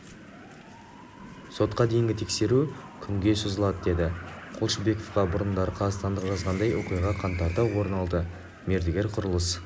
сотқа дейінгі тексеру күнге созылады деді қолшыбекова бұрындары қазақстандық жазғандай оқиға қаңтарда орын алды мердігер құрылыс